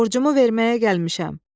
Borcumu verməyə gəlmişəm!